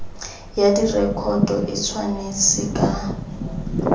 ya direkoto e tshwanetse ka